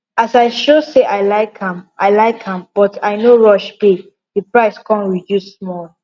as i show say i like am i like am but i no rush pay the price come reduce small